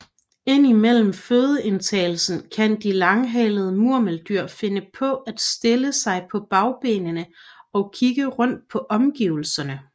Ind imellem fødeindtagelsen kan de langhalede murmeldyr finde på at stille sig på bagbenene og kigge rundt på omgivelserne